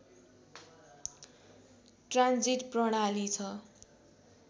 transit प्रणाली छ